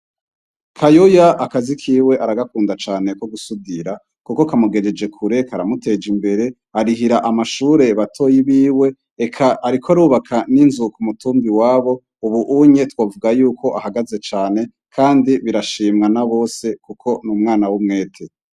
Kayoya akazi kiwe aragakunda cane ko gusudira, kuko kamugejeje kureka aramuteja imbere arihira amashure batoyi biwe eka, ariko rubaka n'inzuka umutumbi wabo, ubu unye twavuga yuko ahagaze cane, kandi birashimwa na bose, kuko n'umwana w'umwete.